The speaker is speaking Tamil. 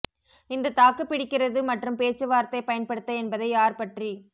இந்த தாக்குப்பிடிக்கிறது மற்றும் பேச்சு வார்த்தை பயன்படுத்த என்பதை யார் பற்றி